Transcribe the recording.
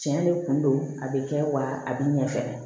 Tiɲɛ de kun don a bɛ kɛ wa a bɛ ɲɛ fɛnɛ